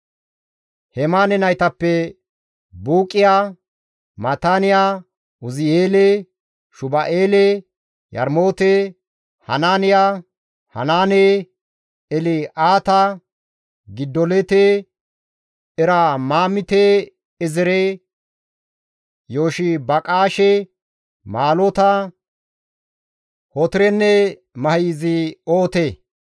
Hemaane naytappe Buuqiya, Maataaniya, Uzi7eele, Shuba7eele, Yarmoote, Hanaaniya, Hanaane, El7aata, Gidolte, Eromaamte-Eezere, Yoshibaqaashe, Maalota, Hotirenne Mahizi7oote.